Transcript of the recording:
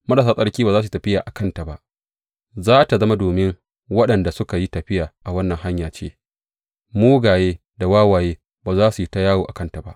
Marasa tsarki ba za su yi tafiya a kanta ba; za tă zama domin waɗanda suka yi tafiya a wannan Hanya ce; mugaye da wawaye ba za su yi ta yawo a kanta ba.